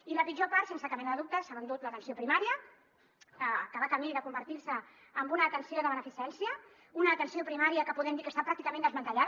i la pitjor part sense cap mena de dubte se l’ha endut l’atenció primària que va camí de convertir se en una atenció de beneficència una atenció primària que podem dir que està pràcticament desmantellada